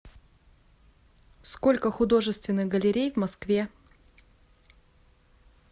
сколько художественных галерей в москве